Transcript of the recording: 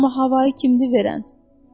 Amma havanı kimdi verən?